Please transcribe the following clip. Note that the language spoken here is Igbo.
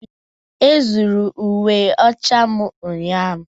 Ezuuru uwe ọcha m ụnyahụ.